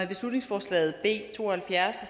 beslutningsforslag b to og halvfjerds